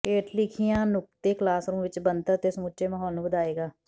ਹੇਠ ਲਿਖੀਆਂ ਨੁਕਤੇ ਕਲਾਸਰੂਮ ਵਿੱਚ ਬਣਤਰ ਅਤੇ ਸਮੁੱਚੇ ਮਾਹੌਲ ਨੂੰ ਵਧਾਏਗਾ